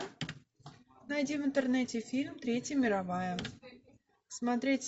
найди в интернете фильм третья мировая смотреть